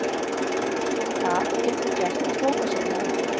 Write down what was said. Það geturðu gert á bókasafninu